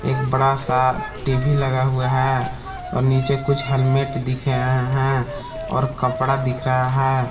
एक बड़ा सा टी_वी लगा हुआ है और नीचे कुछ हलमेट दिखे हैं और कपड़ा दिख रहा है।